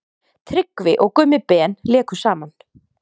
Tryggvi og Gummi Ben léku saman.